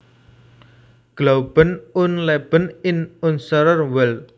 Glauben und Leben in unserer Welt